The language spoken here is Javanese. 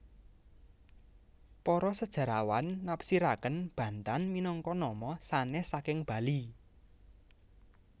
Para sejarawan nafsiraken Bantan minangka nama sanes saking Bali